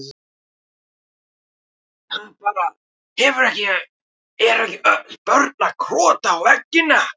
Það er bara, hefur ekki, eru ekki öll börn að krota á veggina?